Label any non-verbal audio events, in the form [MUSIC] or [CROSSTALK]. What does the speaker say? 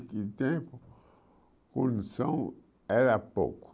[UNINTELLIGIBLE] tempo, produção era pouco.